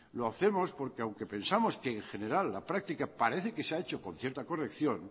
lo hacemos porque aunque pensamos que en general la práctica parece que se ha hecho con cierta corrección